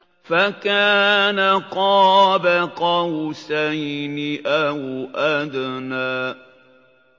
فَكَانَ قَابَ قَوْسَيْنِ أَوْ أَدْنَىٰ